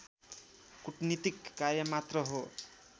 कुटनीतिक कार्य मात्र हो